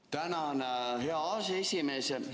Tänan, hea aseesimees!